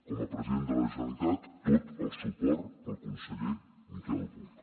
com a president de la generalitat tot el suport al conseller miquel buch